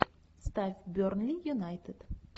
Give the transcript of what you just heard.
ставь бернли юнайтед